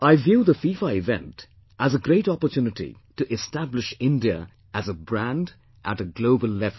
I view the FIFA event as a great opportunity to establish India as a brand at a global level